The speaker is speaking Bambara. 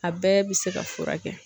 A bɛɛ bɛ se ka furakɛ.